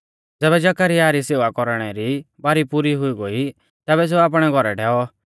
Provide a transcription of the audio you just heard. ज़ैबै जकरयाह री सेवा कौरणै री बारी पुरी हुई तैबै सेऊ आपणै घौरै डैऔ